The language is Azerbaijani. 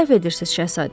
Səhv edirsiz Şahzadə.